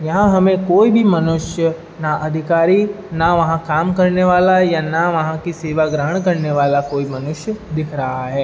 यहाँ हमे कोई भी मनुष्य ना अधिकारी ना वहाँ काम करने वाला या ना वहाँ कि सेवा ग्रहण करने वाला कोई मनुष्य दिख रहा है।